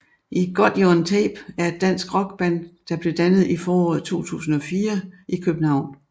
I Got You on Tape er et dansk rockband der blev dannet i foråret 2004 i København